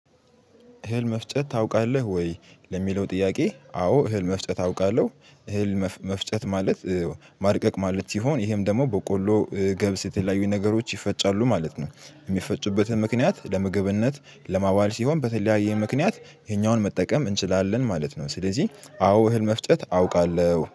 እህል መፍጨት ታውቃለህ ወይ? ለሚለው ጥያቄ አዎ እህል መፍጨት አውቃለሁ እህል መፍጨት ማለት ማድቀቅ ማለት ሲሆን ይሄም ደግሞ በቆሎ ገብስ የተለያዩ ነገሮች ይፈጫሉ ማለት ነው። የሚፈጩበትን ምክንያት ለምግብነት ለማዋል ሲሆን በተለያየ ምክንያት ይሄኛውን መጠቀም እንችላለን ማለት ነው። ስለዚህ አዎ እህል መፍጠት አውቃለሁ።